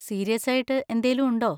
സീരിയസ്സായിട്ട് എന്തേലും ഉണ്ടോ?